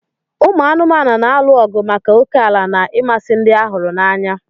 Ụmụ anụmanụ na-alụ ọgụ maka ókèala na ịmasị ndị a huru n'anya.